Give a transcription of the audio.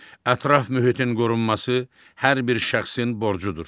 Ətraf mühitin qorunması hər bir şəxsin borcudur.